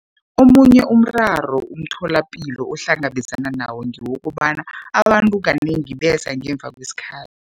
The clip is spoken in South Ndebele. Omunye umraro umtholapilo ohlngabezana nawo ngewokobana abantu kanengi beza ngemuva kwesikhathi.